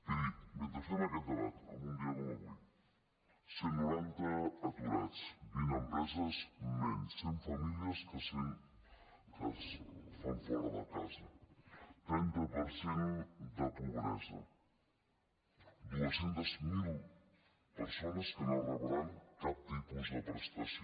miri mentre fem aquest debat en un dia com avui cent i noranta aturats vint empreses menys cent famílies que les fan fora de casa trenta per cent de pobresa dos cents miler persones que no rebran cap tipus de prestació